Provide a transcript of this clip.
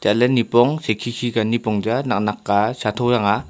la nipong khe khe ka nipong chang a nak nak ka khaya tho chang a.